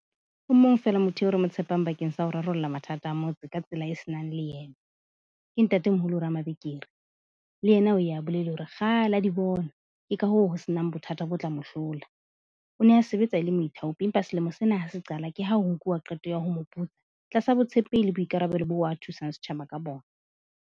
O mong fela motho eo re mo tshepang bakeng sa ho rarolla mathata a motse ka tsela e se nang leeme, ke Ntate Moholo Ramabenkele, le yena o ya bolele hore kgale a di bona. Ke ka hoo ho se nang bothata bo tla mo hlola. O ne a sebetsa e le moithaopi, empa selemo sena ha se qala, ke ha ho nkuwa qeto ya ho tlasa botshepehi le boikarabelo bo a thusang setjhaba ka bona.